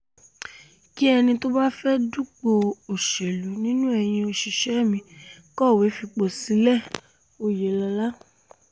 kí ẹni tó bá fẹ́ẹ́ dupò òṣèlú nínú eyín òṣìṣẹ́ mi kọ̀wé fipò sílẹ̀-òyelọ̀la